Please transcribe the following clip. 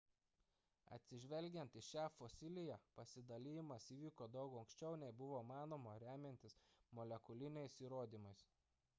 atsižvelgiant į šią fosiliją pasidalijimas įvyko daug anksčiau nei buvo manoma remiantis molekuliniais įrodymais